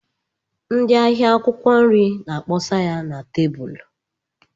Ndị ahịa akwụkwọ nri na-akpọsa ya na tebụlụ.